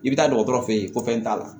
I bɛ taa dɔgɔtɔrɔ fe yen ko fɛn t'a la